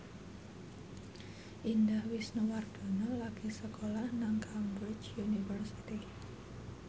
Indah Wisnuwardana lagi sekolah nang Cambridge University